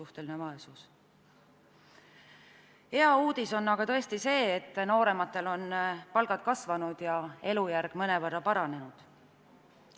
Hea uudis on aga tõesti see, et noorematel on palgad kasvanud ja elujärg mõnevõrra paranenud.